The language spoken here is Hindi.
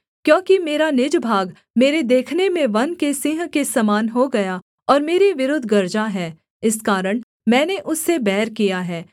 क्योंकि मेरा निज भाग मेरे देखने में वन के सिंह के समान हो गया और मेरे विरुद्ध गरजा है इस कारण मैंने उससे बैर किया है